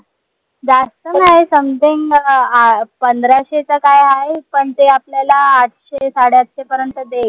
जास्त नाय some time अं पंधराशे का काय हाय पन ते आपल्याला ते आपल्याला आठशे साडेआठशे पर्यंत देईल